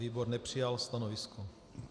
Výbor nepřijal stanovisko.